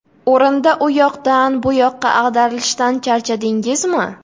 O‘rinda u yoqdan bu yoqqa ag‘darilishdan charchadingizmi?